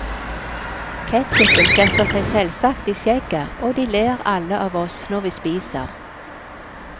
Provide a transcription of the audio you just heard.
Ketchupen setter seg selvsagt i skjegget, og de ler alle av oss når vi spiser.